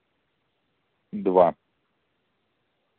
два